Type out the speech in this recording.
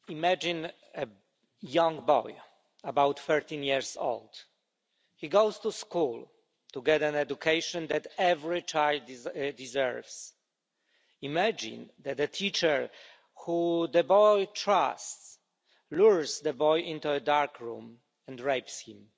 Mr President, imagine a young boy, about 13 years old. He goes to school to get an education that every child deserves. Imagine that the teacher, whom the boy trusts, lures the boy into a dark room and rapes him.